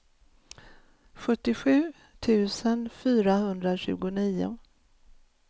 sjuttiosju tusen fyrahundratjugonio